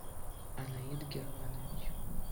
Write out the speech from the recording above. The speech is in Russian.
анаид германович